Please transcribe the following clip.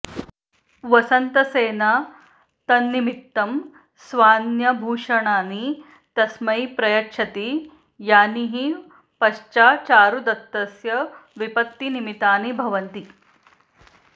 वसन्तसेना तन्निमित्तं स्वान्याभूषणानि तस्मै प्रयच्छति यानि हि पश्चाच्चारुदत्तस्य विपत्तिनिमितानि भवन्ति